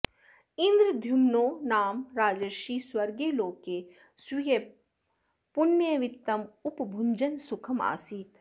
इन्द्रद्युम्नो नाम राजर्षिः स्वर्गे लोके स्वीयपुण्यवित्तं उपभुञ्जन् सुखमासीत्